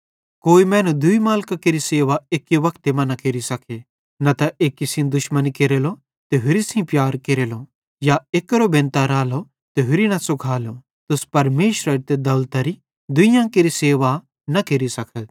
कोई मैनू दूई मालिकां केरि सेवा एक्की वक्ते मां न केरि सके न त एक्की सेइं दुश्मनी केरेलो ते होरि सेइं प्यार केरेलो या एक्केरो बेनतां रालो त होरि सेइं न सुखालो तुस परमेशरेरी ते दौलतरी दुइयां केरि सेवा न केरि सकथ